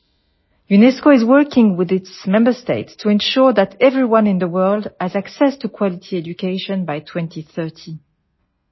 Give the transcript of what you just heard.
UNESCO is working with its member states to ensure that everyone in the world has access to quality education by 2030